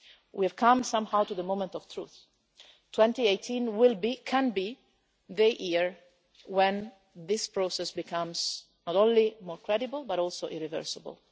us. We have come somehow to the moment of truth 2018 can be the year when this process becomes not only more credible, but also irreversible.